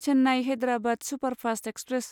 Chennai Hyderabad superfast express